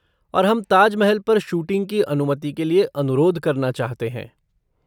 और हम ताज महल पर शूटिंग की अनुमति के लिए अनुरोध करना चाहते हैं।